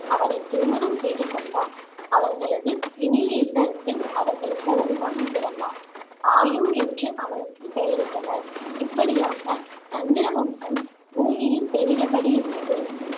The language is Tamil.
அவளைத் திருமணம் செய்து கொண்டான். அவர்களது இனிய இல்லறத்தில் அவர்களுக்கு ஒரு மகன் பிறந்தான் ஆயு என்று அவனுக்குப் பெயரிட்டனர். இப்படியாக சந்திர வம்சம் பூமியில் பெருகியபடி இருந்தது.